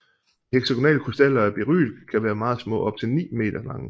De heksagonale krystaller af beryl kan være meget små og op til ni meter lange